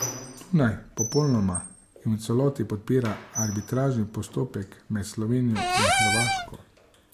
Dunaj popolnoma in v celoti podpira arbitražni postopek med Slovenijo in Hrvaško.